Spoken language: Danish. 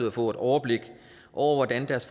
at få et overblik over hvordan deres